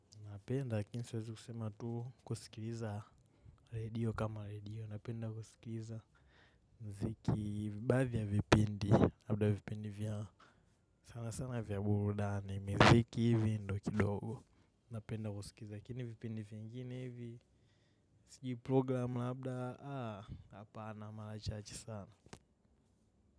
Napenda lakini siwezi kusema tu kusikiliza radio kama radio. Napenda kusikiliza mziki baadhi ya vipundi.labda vipindi vya sana sana vya burudani. Mziki hivi ndo kidogo. Napenda kusikiliza lakini vipindi vingine hivi. Sijui program labda hapana mara chache sana.